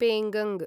पेङ्गङ्ग